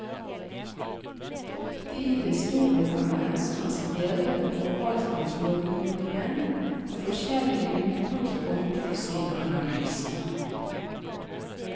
De historikerne som har skrevet om forvaltningslovgivningen har forskjellig utgangspunkt for sine analyser.